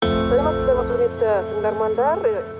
сәлеметсіздер ме құрметті тыңдармандар ы